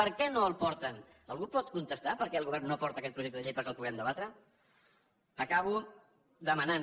per què no el porten algú pot contestar per què el govern no porta aquest projecte de llei perquè el puguem debatre acabo demanant